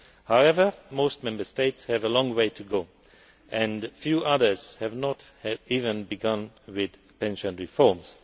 However, most Member States have a long way to go and a few others have not even begun with pension reforms.